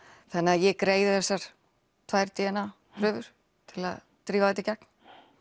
þannig ég greiði þessar tvær d n a prufur til að drífa þetta í gegn